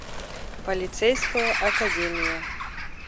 полицейская академия